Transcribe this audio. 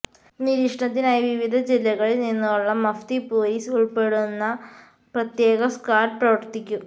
നിരീക്ഷണത്തിനായി വിവിധ ജില്ലകളില്നിന്നുള്ള മഫ്തി പോലീസ് ഉള്പ്പെടുന്ന പ്രത്യേക സ്ക്വാഡ് പ്രവര്ത്തിക്കും